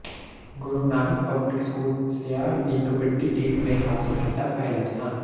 ਗੁਰੂ Nanak public school Siar ਦੀ kabaddi team ਨੇ ਹਾਸਲ ਕੀਤਾ ਪਹਿਲਾ ਸਥਾਨ